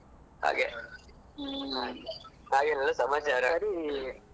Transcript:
ಸರಿ ಮತ್ತೆಂತ ಗೊತ್ತುಂಟಾ ನಾನು ಸ್ವಲ್ಪ ಕೆಲ್ಸದಲ್ಲಿ ಇದ್ದೇನೆ.